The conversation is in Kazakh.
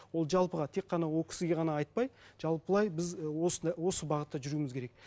ол жалпыға тек қана ол кісіге ғана айтпай жалпылай біз осы бағытта жүруіміз керек